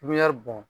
bɔn